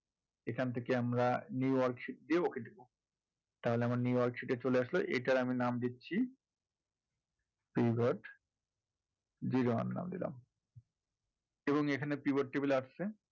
এখান থেকে আমরা new worksheet দিয়ে okay দেবো তাহলে আমার new worksheet এ চলে আসলো এটার আমি নাম দিচ্ছি pivot zero one নাম দিলাম এবং এখানে pivot table এসেছে